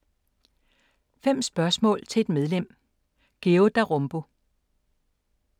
5 spørgsmål til et medlem: Georg Darumbo